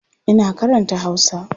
Ina karanta Hausa.